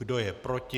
Kdo je proti?